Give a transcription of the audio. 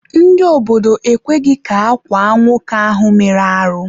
Ndị obodo ekweghị ka akwaa nwoke ahụ mere arụ.